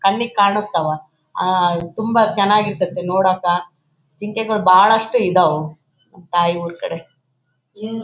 ಕಣ್ಣಿಗೆ ಕಣ್ಣ್ ತ್ಸವ ಆಹ್ಹ್ ತುಂಬಾ ಚೆನ್ನಾಗಿ ಇರ್ತಾತ್ತ ನೋಡಕ್ಕ ಜಿಂಕೆಗಳು ಬಹಳಷ್ಟು ಇದಾವು ತಾಯಿ ಊರ್ ಕಡೆ --